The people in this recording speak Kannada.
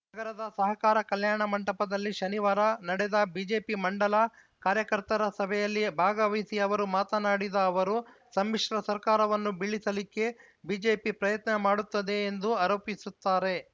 ನಗರದ ಸಹಕಾರ ಕಲ್ಯಾಣ ಮಂಟಪದಲ್ಲಿ ಶನಿವಾರ ನಡೆದ ಬಿಜೆಪಿ ಮಂಡಲ ಕಾರ್ಯಕರ್ತರ ಸಭೆಯಲ್ಲಿ ಭಾಗವಹಿಸಿ ಅವರು ಮಾತನಾಡಿದ ಅವರು ಸಮ್ಮಿಶ್ರ ಸರ್ಕಾರವನ್ನು ಬೀಳಿಸಲಿಕ್ಕೆ ಬಿಜೆಪಿ ಪ್ರಯತ್ನ ಮಾಡುತ್ತದೆ ಎಂದು ಆರೋಪಿಸುತ್ತಾರೆ